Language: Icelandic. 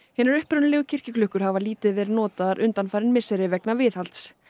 hinar upprunalegu kirkjuklukkur hafa lítið verið notaðar undanfarin misseri vegna viðhalds